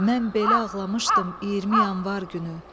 Mən belə ağlamışdım 20 Yanvar günü.